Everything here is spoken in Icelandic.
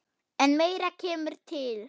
En meira kemur til.